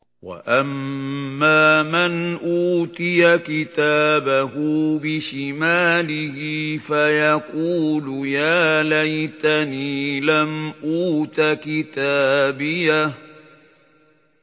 وَأَمَّا مَنْ أُوتِيَ كِتَابَهُ بِشِمَالِهِ فَيَقُولُ يَا لَيْتَنِي لَمْ أُوتَ كِتَابِيَهْ